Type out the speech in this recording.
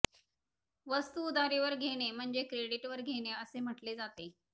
वस्तू उधारीवर घेणे म्हणजे क्रेडीट वर घेणे असे म्हटले जाते